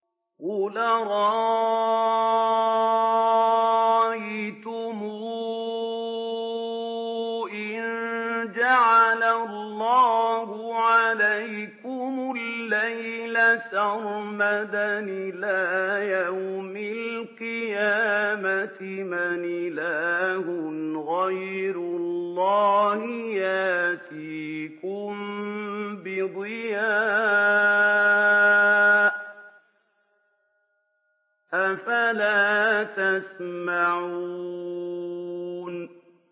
قُلْ أَرَأَيْتُمْ إِن جَعَلَ اللَّهُ عَلَيْكُمُ اللَّيْلَ سَرْمَدًا إِلَىٰ يَوْمِ الْقِيَامَةِ مَنْ إِلَٰهٌ غَيْرُ اللَّهِ يَأْتِيكُم بِضِيَاءٍ ۖ أَفَلَا تَسْمَعُونَ